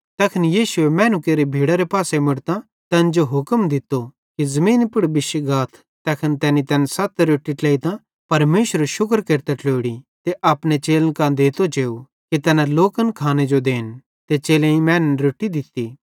तैखन यीशुए मैनू केरि भीड़रे पासे मुड़तां तैन जो हुक्म दित्तो कि ज़मीनी पुड़ बिश्शी गाथ तैखन तैनी तैन सत रोट्टी ट्लेइतां परमेशरेरू शुक्र केरतां ट्लोड़ी ते अपने चेलन कां देते जेव कि तैना लोकन खाने जो देन ते चेलेईं मैनन् रोट्टी दित्ती